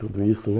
Tudo isso, né?